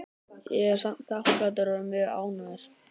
Ég er samt þakklátur og er mjög ánægður.